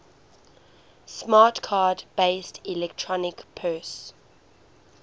smart card based electronic purse